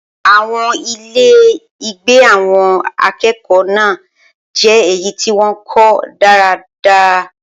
Awọn ile-igbe awon akeeko naa je eyi ti won ko daadaa